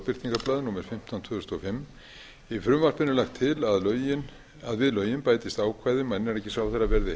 lögbirtingablað númer fimmtán tvö þúsund og fimm í frumvarpinu er lagt til að við lögin bætist ákvæði um að innanríkisráðherra verði